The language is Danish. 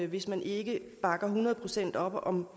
hvis man ikke bakker hundrede procent op om